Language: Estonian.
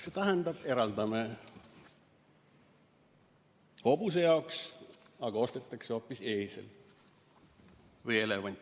See tähendab, et eraldame raha hobuse jaoks, aga ostetakse hoopis eesel või elevant.